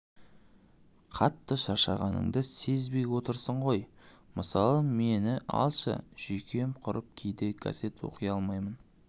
қатты шаршағаныңды сезбей отырсың ғой мысалға мені алшы жүйкем құрып кейде газет оқи алмаймын